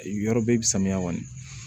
Yɔrɔ bɛɛ i bɛ samiya kɔni